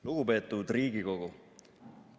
Lugupeetud Riigikogu!